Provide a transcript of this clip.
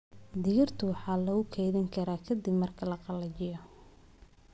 Digirta waxaa lagu kaydin karaa ka dib marka la qalajiyo.